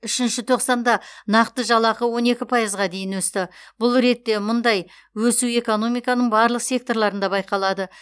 үшінші тоқсанда нақты жалақы он екі пайызға дейін өсті бұл ретте мұндай өсу экономиканың барлық секторларында байқалады